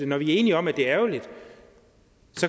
når vi er enige om at det er ærgerligt